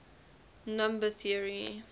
number theory